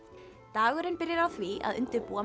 dagurinn byrjar á því að undirbúa